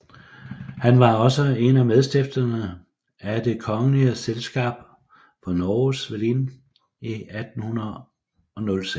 Han var også en af medstifterne af Det Kongelige Selskap for Norges Velin i 1809